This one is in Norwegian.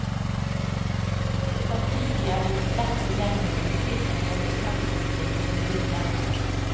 Samtidig er det gjort lett tilgjengelig og tilpasset det praktiske jordbruket.